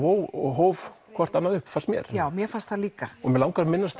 hóf hóf hvort annað upp fannst mér já mér fannst það líka mig langar að minnast